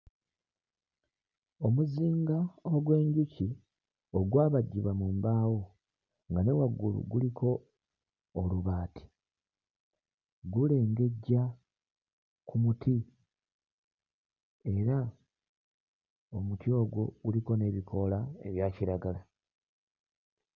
Omuzinga ogw'enjuki ogwabajjibwa mu mbaawo nga ne waggulu guliko olubaati gulengejja ku muti era omuti ogwo guliko n'ebikoola ebya kiragala.